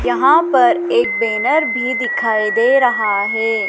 यहां पर एक बैनर भी दिखाए दे रहा है।